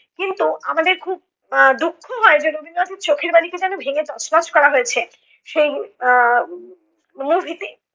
কিন্তু আমাদের খুব আহ দুঃখ হয়, রবীন্দ্রনাথের চোখের বালিকে যেনো ভেঙে তছনছ করা হয়েছে সেই আহ movie তে